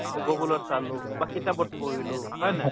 google ত চালো বা কিতাপত পঢ়িলো, হয় নে নহয়?